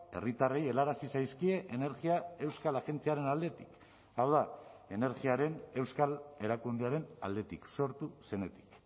herritarrei helarazi zaizkie energia euskal agentziaren aldetik hau da energiaren euskal erakundearen aldetik sortu zenetik